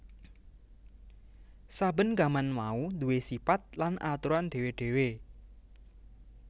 Saben gaman mau duwé sipat lan aturan dhéwé dhéwé